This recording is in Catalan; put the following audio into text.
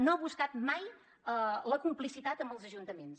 no ha buscat mai la complicitat amb els ajuntaments